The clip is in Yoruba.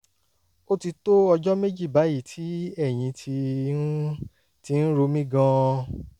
ó ti tó ọjọ́ méjì báyìí tí ẹ̀yìn ti ń ti ń ro mí gan-an